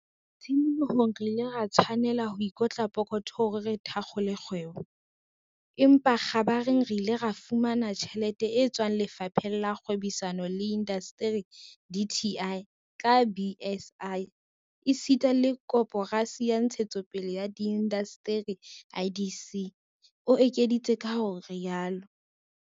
"Tshimolohong re ile ra tshwanela ho ikotla pokotho hore re thakgole kgwebo, empa kgabareng re ile ra fumana tjhelete e tswang Lefapheng la Kgwebisano le Indasteri, DTI, ka BIS esita le Koporasi ya Ntshetsopele ya Diindasteri, IDC," o ekeditse ka ho rialo.